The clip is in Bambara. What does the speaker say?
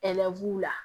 la